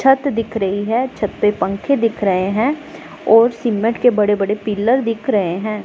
छत दिख रही है छत पे पंखे दिख रहे हैं और सीमेंट के बड़े बड़े पिलर दिख रहे हैं।